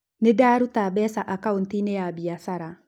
Nĩ ndaruta mbeca akaũnti-inĩ ya biacara.